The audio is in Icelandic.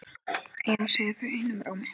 Já segja þau einum rómi.